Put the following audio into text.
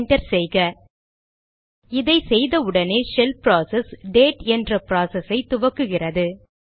enter செய்க இதை செய்த உடனேயே ஷெல் ப்ராசஸ் டேட் என்ற ப்ராசஸ் ஐ துவக்குகிறது